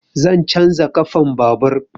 Zan canja ƙafan babur.